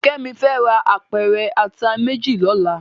Kemi fè rá ápèrè àtá méjí lòlá